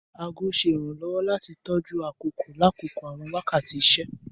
Aago ṣe iranlọwọ lati tọju akoko lakoko awọn wakati iṣẹ.